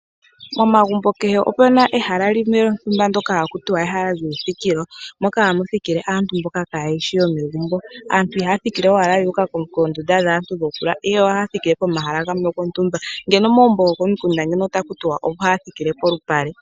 Momagumbo kehe omuna ehala lyoka hali ithanwa ehala lyoku thikila. Moka hamu thikile aantu mboka kaayeshi yomegumbu. Aantu ihaya thikile ashike yuuka koondunda dhaantu ihe ohaya pehala lyontumba . Komagumbo gokomikunda ohaku tiwa ohaya thikile poshinyanga.